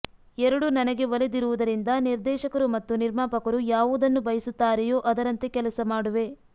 ಎರಡೂ ನನಗೆ ಒಲಿದಿರುವುದರಿಂದ ನಿರ್ದೇಶಕರು ಮತ್ತು ನಿರ್ಮಾಪಕರು ಯಾವುದನ್ನು ಬಯಸುತ್ತಾರೆಯೋ ಅದರಂತೆ ಕೆಲಸ ಮಾಡುವೆ